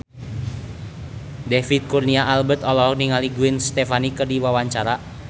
David Kurnia Albert olohok ningali Gwen Stefani keur diwawancara